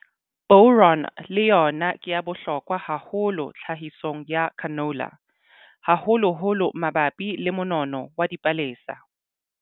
Boron le yona ke ya bohlokwa hahollo tlhahisong ya canola, haholoholo mabapi le monono wa dipalesa.